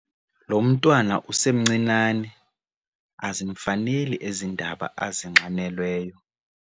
Lo mntwana usemncinane azimfaneli ezi ndaba azinxanelweyo.